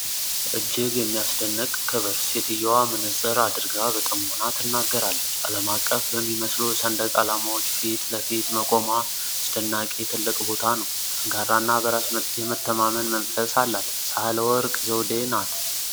እጅግ የሚያስደንቅ ክብር! ሴትየዋ መነፅር አድርጋ በጥሞና ትናገራለች። አለም አቀፍ በሚመስሉ ሰንደቅ አላማዎች ፊት ለፊት መቆሟ አስደናቂ ትልቅ ቦታ ነው። ጠንካራ እና በራስ የመተማመን መንፈስ አላት። ሳህለወርቅ ዘውደ ናጥ